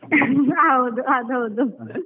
ಹೌದು ಅದು ಹೌದು.